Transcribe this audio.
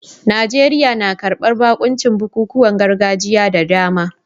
Najeriya na karbar bakuncin bukukuwan gargajiya da dama